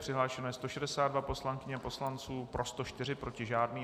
Přihlášeno je 162 poslankyň a poslanců, pro 104, proti žádný.